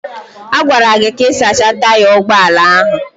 A gwara gị ka ị sachaa taya ụgbọ ala ahụ.